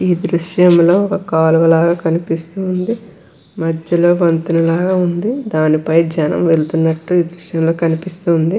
ఈ దృశ్యంలో ఒక కాలువ లాగా కనిపిస్తుంది మధ్యలో వంతెన లాగా ఉంది దాని పై జనం వెళ్తున్నట్టు ఈ దృశ్యంలో కనిపిస్తూ ఉంది.